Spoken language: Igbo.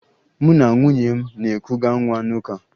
Mụ na nwunye m na-ekuga nwa n'ụka